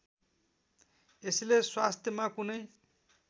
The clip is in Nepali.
यसले स्वास्थ्यमा कुनै